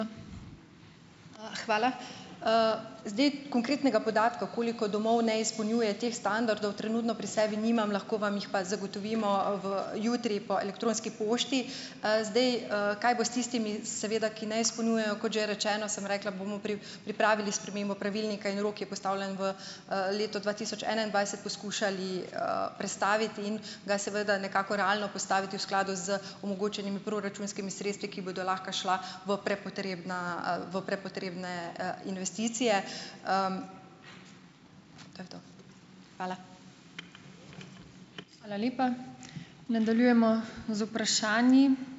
Hvala. Zdaj konkretnega podatka, koliko domov ne izpolnjuje teh standardov, trenutno pri sebi nimam. Lahko vam jih pa zagotovimo, v, jutri po elektronski pošti. Zdaj, kaj bo s tistimi, seveda, ki ne izpolnjujejo. Kot že rečeno, sem rekla, bomo pripravili spremembo pravilnika in rok je postavljen v, leto dva tisoč enaindvajset, poskušali, prestaviti in ga seveda nekako realno postaviti v skladu z omogočenimi proračunskimi sredstvi, ki bodo lahko šla v prepotrebna, v prepotrebne, investicije. To je to. Hvala.